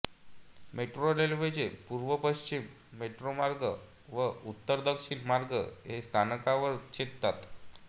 metro रेल्वेचे पूर्वपश्चिम metro मार्ग व उत्तरदक्षिण मार्ग हे या स्थानकावर छेदतात